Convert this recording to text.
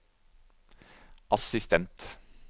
assistent